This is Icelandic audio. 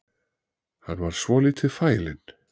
Hann var svolítið fælinn